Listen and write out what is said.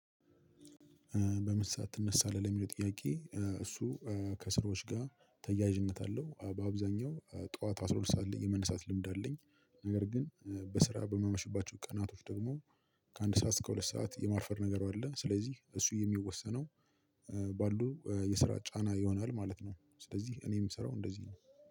በምን ሰዓት ትነሳለህ? ለሚለው ጥያቄ እሱ ከስራዎች ጋር ተያያዥነት አለው። በአብዛኛው ጠዋት አስራ ሁለት ሰዓት የመነሳት ልምድ አለኝ። ነገር ግን በስራ በማመሽባቸው ቀናቶች ደግሞ ከአንድ ሰዓት እስከ ሁለት ሰዓት የማርፈድ ነገር አለ። ስለዚህ እሱ የሚወሰነው ባሉ የስራ ጫና ይሆናል ማለት ነው። ስለዚህ እኔ የምሰራው እንደዚህ ነው-